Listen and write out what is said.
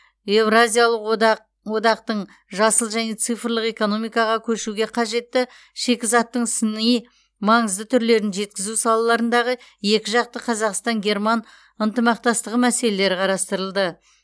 еуразиялық одақ одақтың жасыл және цифрлық экономикаға көшуге қажетті шикізаттың сыни маңызды түрлерін жеткізу салаларындағы екіжақты қазақстан герман ынтымақтастығы мәселелері қарастырылды